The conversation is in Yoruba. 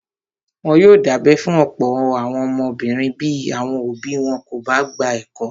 Wọ́n yóò dábẹ́ fún ọ̀pọ̀ àwọn ọmọbìnrin bí àwọn òbí wọn kò bá gba ẹ̀kọ́.